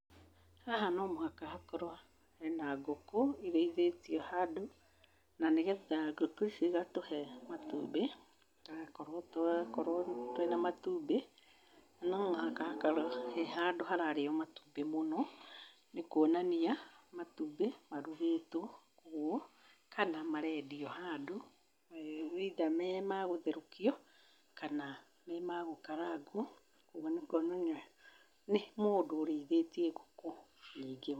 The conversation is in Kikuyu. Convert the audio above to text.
Haha no mũhaka hakorwo hena ngũkũ irĩithĩtio handũ na nĩgetha ngũkũ icio igatũhe matumbĩ, tũgakorwo twĩna matumbĩ. No mũhaka hakorwo he handũ hararĩo matumbĩ mũno nĩ kũonania matumbĩ marugĩtwo ũguo kana mareendio handu, either me magũtherũkio, kana me ma gũkarangwo. Kwoguo nĩ mũndũ ũrĩithĩtie ngũkũ nyingĩ.